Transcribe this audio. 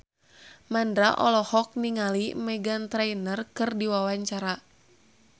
Mandra olohok ningali Meghan Trainor keur diwawancara